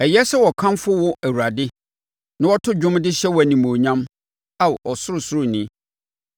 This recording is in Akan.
Ɛyɛ sɛ wɔkamfo wo Awurade na wɔto dwom de hyɛ wo animuonyam, Ao Ɔsorosoroni,